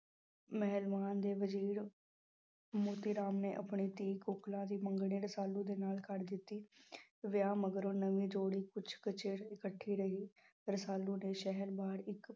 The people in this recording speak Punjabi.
ਮਹਿਲਵਾਨ ਦੇ ਵਜ਼ੀਰ ਮੋਤੀ ਰਾਮ ਨੇ ਆਪਣੀ ਧੀ ਕੋਕਿਲਾ ਦੀ ਮੰਗਣੀ ਰਸਾਲੂ ਦੇ ਨਾਲ ਕਰ ਦਿੱਤੀ ਵਿਆਹ ਮਗਰੋਂ ਨਵੀਂ ਜੋੜੀ ਕੁਛ ਕੁ ਚਿਰ ਇਕੱਠੀ ਰਹੀ, ਰਸਾਲੂ ਨੇ ਸ਼ਹਿਰ ਬਾਹਰ ਇੱਕ